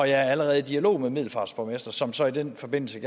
jeg er allerede i dialog med middelfarts borgmester som så i den forbindelse